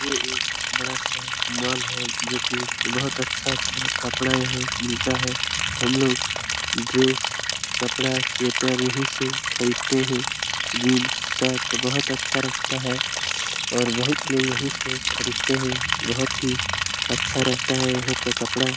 ये एक बड़ा सा मॉल है जो की बहुत अच्छा अच्छा कपड़ा यहाँ मिलता है हम लोग ड्रेस कपड़ा स्वेटर यहीं से खरीदते हैं जीन्स शर्ट बहुत अच्छा रखता है और बहुत लोग यहीं से खरीदते हैं बहुत ही अच्छा रहता है यहाँ का कपड़ा ।